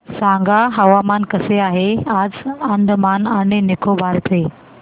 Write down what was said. सांगा हवामान कसे आहे आज अंदमान आणि निकोबार चे